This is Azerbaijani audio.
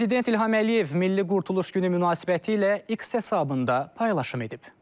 Prezident İlham Əliyev Milli Qurtuluş Günü münasibətilə X hesabında paylaşım edib.